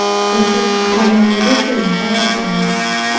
Erkak qahramonligi uchun mukofotlanadi.